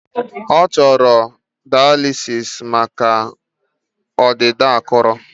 Ọ chọrọ daalisịs maka ọdịda akụrụ